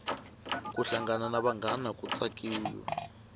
ku hlangana na vanghana ku tsakiwa